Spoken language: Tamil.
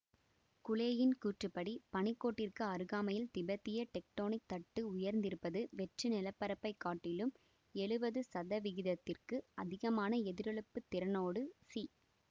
குலேயின் கூற்றுப்படி பனிக்கோட்டிற்கு அருகாமையில் திபெத்திய டெக்டோனிக் தட்டு உயர்ந்திருப்பது வெற்று நில பரப்பை காட்டிலும் எழுவது சதவிகிதத்திற்கு அதிகமான எதிரொளிப்புத் திறனோடு சி